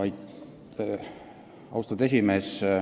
Austatud juhataja!